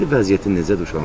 İndi vəziyyəti necədir uşağın?